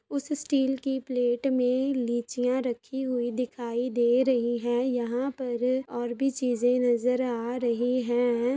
उस स्टील की प्लेट में लीचियां रखी हुई दिखायी दे रही है यहाँ पर और भी चीजें नज़र आ रही है।